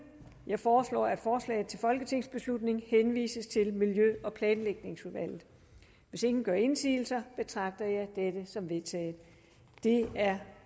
jeg foreslår at forslaget til folketingsbeslutning henvises til miljø og planlægningsudvalget hvis ingen gør indsigelse betragter jeg dette som vedtaget det er